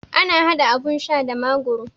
Ana haɗa abun sha da magoro